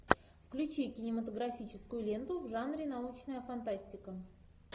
включи кинематографическую ленту в жанре научная фантастика